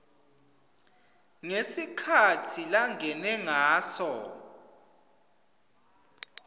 ngesikhatsi langene ngaso